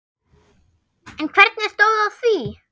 En hvernig stóð á því?